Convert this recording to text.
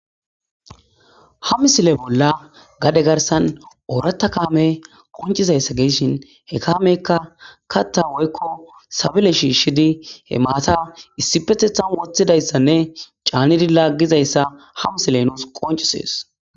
Ha misile bolla gade garsan ooratta kaame qoncizayssa geeshin he kaameykka katta woykko sabele shiishidi he maata issipetethan woththidayssanne caanidi laggizayssa ha misile nuus qoncisees